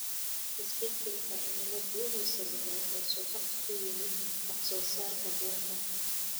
Isbeddelka cimiladu wuxuu sababay hoos u dhac ku yimaada wax soo saarka bunka.